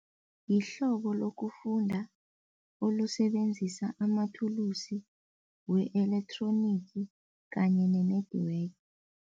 Yihlobo lokufunda olusebenzisa amathulusi we-elecronic kanye ne-network.